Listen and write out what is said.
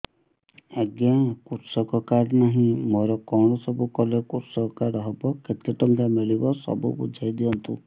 ଆଜ୍ଞା କୃଷକ କାର୍ଡ ନାହିଁ ମୋର କଣ ସବୁ କଲେ କୃଷକ କାର୍ଡ ହବ କେତେ ଟଙ୍କା ମିଳିବ ସବୁ ବୁଝାଇଦିଅନ୍ତୁ